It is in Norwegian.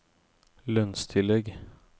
lønnstillegg